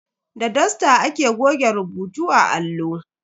Da dusta ake goge rubutu a allo.